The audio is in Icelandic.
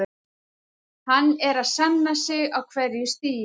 Hann er að sanna sig á hverju stigi.